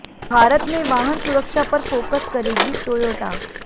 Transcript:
भारत में वाहन सुरक्षा पर फोकस करेगी टोयोटा